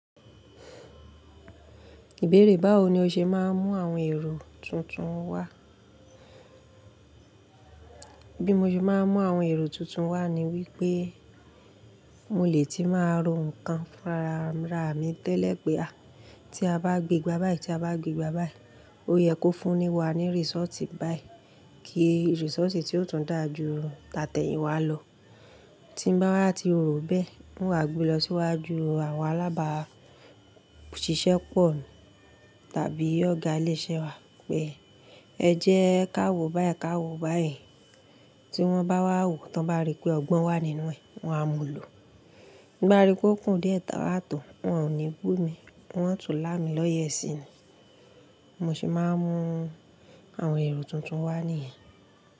Ìbéèrè báwo ni o ṣe máa ń mú àwọn èrò tuntun wá? Bí mo ṣe máa ń mú àwọn èrò tuntun wá ni wípé mo lè tí máa ro nǹkan fún ara mi tẹ́lẹ̀ pé a, tí a bá gbé gbá báyì tí a bá gbé gbá báyì, ó yẹ kó fúnni wá ní result báyì. Kì result tí yóò tún dáa ju tàtẹ̀yìn wá lọ. Tí bá wa tí ro bẹ́ẹ̀, hun wa gbe lọ síwájú àwọn alábàásisẹ́pọ̀ tàbí ọ̀gá ilé iṣẹ́ wá pé ẹ jẹ́ káwo báyìnkáwo báyì. Tí wọ́n bá wá wò, tí wọ́n bá rí pé ọgbọ́n wà nínú ẹ̀, wọn á mú un lò. Bí wọ́n rí pé ó kùn díẹ̀ táwò tó, wọn ò ní bú mi, wọn ó tú lá mi lọ́yẹ́ sí. Mo sì máa ń mú àwọn èrò tuntun wá nìyẹn.